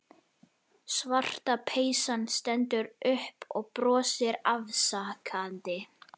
Svarta peysan stendur upp og brosir afsakandi.